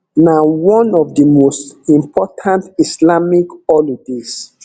na one of di most important islamic holidays